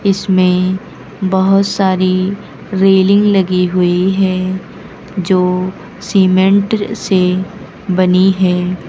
इसमें बहोत सारी रेलिंग लगी हुई है जो सीमेंट से बनी है।